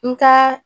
N ka